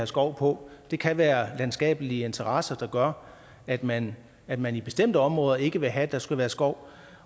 skov på det kan være landskabelige interesser der gør at man at man i bestemte områder ikke vil have at der skal være skov